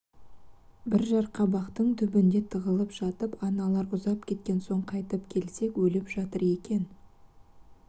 бір жарқабақтың түбінде тығылып жатып аналар ұзап кеткен соң қайтып келсек өліп жатыр екен